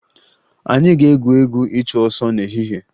Anyị ga-egwu egwu ịchụ ọsọ n'ehihie